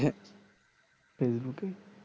সেই মতোন